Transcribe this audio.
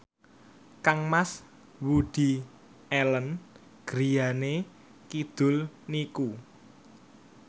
kangmas Woody Allen griyane kidul niku